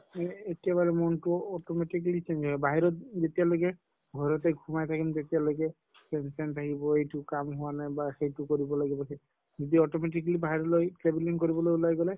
কে একেবাৰে মনটো automatically change হয় বাহিৰত যেতিয়ালৈকে ঘৰতে সোমাই থাকিম তেতিয়ালৈকে tension থাকিব, এইটো কাম হোৱা নাই বা সেইটো কৰিব লাগিব। যদি automatically বাহিৰত ওলাই travelling কৰিবলৈ ওলাই গʼলে